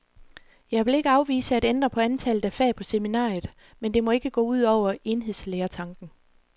Jeg vil ikke afvise at ændre på antallet af fag på seminariet, men det må ikke gå ud over enhedslærertanken.